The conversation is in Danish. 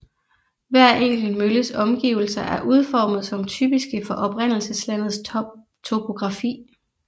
Hver enkelt mølles omgivelser er udformet som typiske for oprindelseslandets topografi